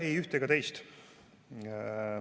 Ei üht ega teist.